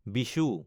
Vishu